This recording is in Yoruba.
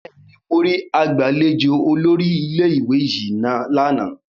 Bẹẹni, mo ri agbalejo olórí ilé-ìwé yìí lana